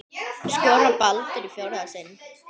Skorar Baldur í fjórða sinn?